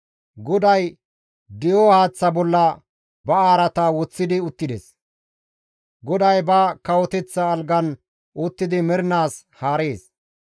GODAY di7o haaththa bolla ba araata woththidi uttides; GODAY ba kawoteththa algan uttidi mernaas haarees.